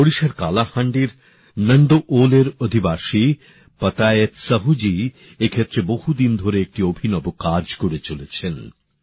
ওড়িশার কালাহান্ডির নান্দওল এর অধিবাসী পাতায়েত সাহুজী এই ক্ষেত্রে বহুদিন ধরে একটি অভিনব কাজ করে চলেছেন